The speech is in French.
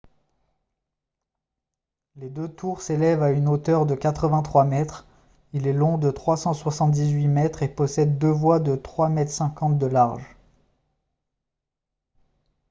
les deux tours s'élèvent à une hauteur de 83 mètres il est long de 378 mètres et possède deux voies de 3,50 m de large